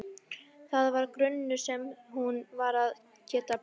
Það var grunnur sem hún varð að geta byggt á.